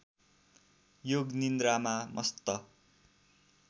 योग निन्द्रामा मस्त